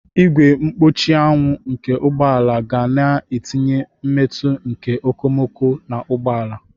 Ìgwè mkpuchi anwụ nke ụgbọ ala ga-na etinye mmetụ nke okomoko na ụgbọ ala.